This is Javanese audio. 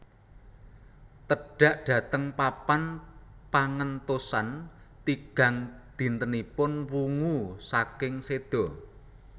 Tedhak dhateng papan pangentosan tigang dintenipun wungu saking séda